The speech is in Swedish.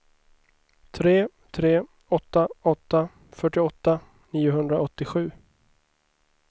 tre tre åtta åtta fyrtioåtta niohundraåttiosju